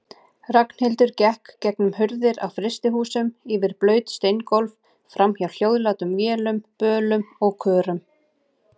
Ragnhildur gekk gegnum hurðir á frystihúsum, yfir blaut steingólf, framhjá hljóðlátum vélum, bölum og körum.